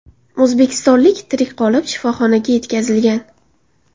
O‘zbekistonlik tirik qolib, shifoxonaga yetkazilgan.